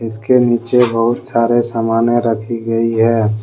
इसके नीचे बहुत सारे सामाने रखी गई है।